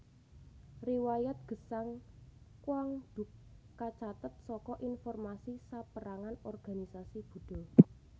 Riwayat gesang Quang Duc kacathet saka informasi sapérangan organisasi Buddha